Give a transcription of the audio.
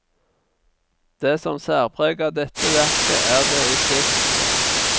Det som særpreger dette verket, er det estetiske.